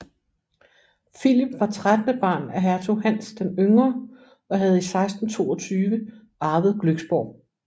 Philip var trettende barn af hertug Hans den Yngre og havde i 1622 arvet Glücksborg